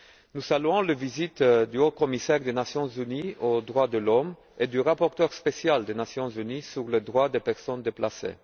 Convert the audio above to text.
Nous saluons les visites du haut commissaire des Nations unies aux droits de l'homme et du rapporteur spécial des Nations unies sur les droits des personnes déplacées.